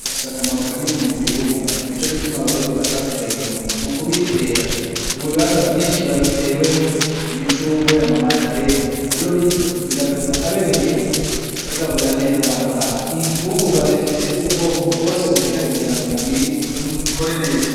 Ifise akamaro kanini m'umubiri w'umuntu nico gituma Abarundi batasigaye inyuma mukubitera mubibanza vyinshi, biba bitewemwo imicungwe, ama mandarena rero bityo bigatuma abene gihugu bagaburira neza abana babo, infungurwa zifise ubwoko bwose bukenewe kugirango umubiri ukore neza.